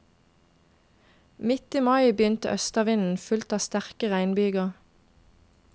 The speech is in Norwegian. Midt i mai begynte østavinden, fulgt av sterke regnbyger.